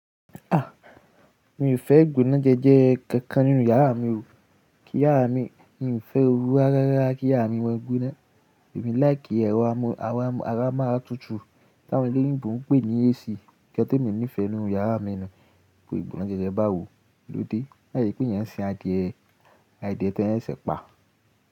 Ah! Mi ò fẹ́ ìgbónájẹ́jẹ́ kankan nínú iyàrá mi o. Kí iyàrá mi, mi ò fẹ́ o rú ará rárá kí yàrá mi máa gbóná. Èmi like ẹrọ amó ara máa tútù tí àwọn ẹlẹ́yìnbo ń pè ní AC. Nnkan temi nífẹ́ nínú yàrá mi nu, ìgbónájẹ́jẹ́ bá wò lóde. Lai ṣe pé eeyan ń ṣin àdìẹ àdìẹ tí wọ́n ṣẹ̀se pa.